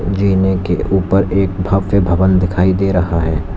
जीने के ऊपर एक भव्य भवन दिखाई दे रहा है।